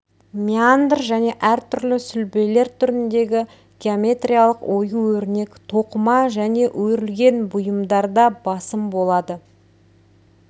меандр және әртүрлі сүлбелер түріндегі геометриялық ою-өрнек тоқыма және өрілген бұйымдарда басым болады